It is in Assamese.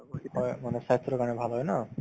হয়, মানে স্ৱাস্থ্যৰ কাৰণে ভাল হয় ন